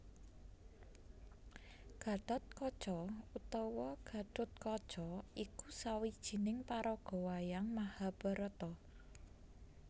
Gathotkaca utawa Gathutkaca iku sawijining paraga wayang Mahabharata